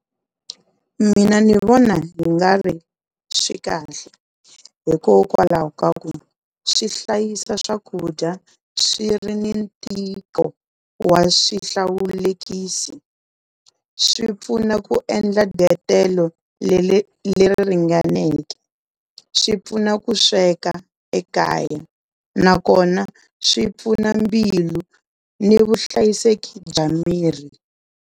Mina ni vona hi nga ri swi kahle hikokwalaho ka ku swi hlayisa swakudya swi ri ni ntiko wa swihlawulekisi, swi pfuna ku endla le ri ringaneke, swi pfuna ku sweka ekaya nakona swi pfuna mbilu ni vuhlayiseki bya miri.